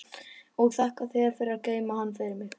Og þakka þér fyrir að geyma hann fyrir mig.